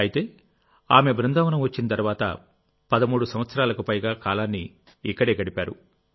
అయితే ఆమె బృందావనం వచ్చిన తర్వాత 13 సంవత్సరాలకు పైగా కాలాన్ని ఇక్కడే గడిపారు